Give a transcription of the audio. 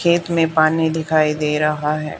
खेत में पानी दिखाई दे रहा है।